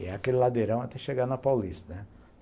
E é aquele ladeirão até chegar na Paulista, né?